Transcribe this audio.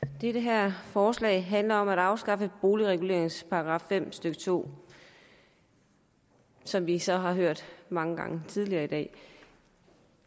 det her forslag handler om at afskaffe boligreguleringens § fem stykke to som vi så har hørt mange gange tidligere i dag